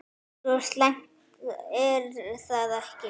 Svo slæmt er það ekki.